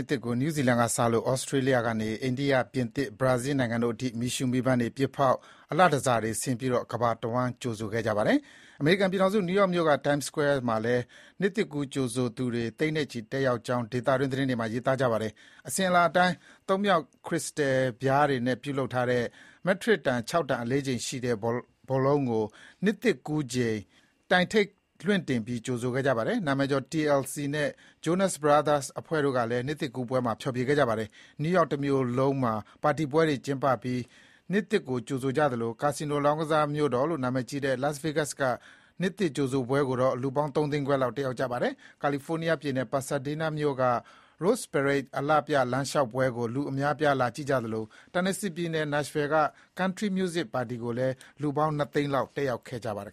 စ်သစ်ကို နယူးဇီလန်ကစလို့ သြစတြေးလျကနေ အိန္ဒိယ၊ ပြင်သစ်၊ ဘရာဇီးလ်နိုင်ငံတို့အထိ မီးရှုးမီးပန်းတွေပစ်ဖေါက်၊ မီးအလှတန်ဆာတွေဆင်ပြီး ကမ္ဘာတဝှမ်း ကြိုဆိုခဲ့ကြပါတယ်။ အမေရိကန်ပြည်ထောင်စု နယူးယောက်မြို့က Times Square မှာလည်း နှစ်သစ်ကူးကြိုဆိုသူတွေ သိန်းနဲ့ချီတက်ရောက်ကြောင်း ဒေသတွင် သတင်းတွေမှာ ရေးသားပါတယ်။ အစဥ်အလာအတိုင်း သုံးမြှောင့်ခရစ္စတယ်ပြားတွေနဲ့ ပြုလုပ်ထားတဲ့ မက်ထရစ်တန် ၆ တန် အလေးချိန်ရှိတဲ့ ဘောလုံးကို နှစ်သစ်ကူးချိန် တိုင်ထိပ်လွှင့်တင်ပြီး ကြိုဆိုခဲ့ပါတယ်။ နာမည်ကျော် TLC နဲ့ Jonas Brothers အဖွဲ့ကလည်း နှစ်သစ်ကူးပွဲမှာ ဖျော်ဖြေခဲ့ကြပါတယ်။ နယူးယောက်တမြို့လုံးမှာ ပါတီပွဲတွေကျင်းပပြီး နှစ်သစ်ကို ကြိုဆိုသလို ကာစီနိုလောင်းကစား မြို့တော်လို့ နာမည်ကြီးတဲ့ Las Vegas က နှစ်သစ်ကြိုဆိုပွဲကို လူပေါင်းသုံးသိန်းခွဲလောက် တက်ရောက်ကြပါတယ်။ ကယ်လီဖိုးနီးယားပြည်နယ်၊ Pasadena မြို့က Rose Parade အလှပြ လမ်းလျှောက်ပွဲကို လူအများ လာကြည့်ကြသလို Tennesseeပြည်နယ်၊ Nashville က Country Music ပါတီကိုလည်း လူပေါင်း ၂ သိန်းလောက် တက်ရောက် ကြပါတယ်